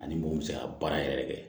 Ani mun bɛ se ka baara yɛrɛ kɛ